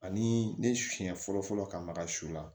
Ani ne siɲɛ fɔlɔ fɔlɔ ka maga su la